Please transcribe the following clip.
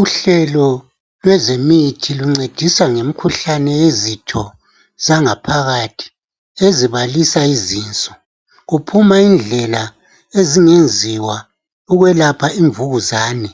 Uhlelo lwezemithi luncedisa ngemkhuhlane yezitho zangaphakathi ezibalisa izinso, kuphuma indlela ezingenziwa ukwelapha imvukuzane